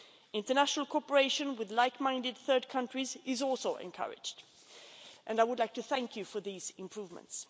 International cooperation with like minded third countries is also encouraged, and I would like to thank you for these improvements.